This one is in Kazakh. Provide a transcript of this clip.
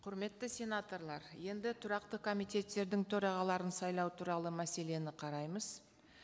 құрметті сенаторлар енді тұрақты комитеттердің төрағаларын сайлау туралы мәселені қараймыз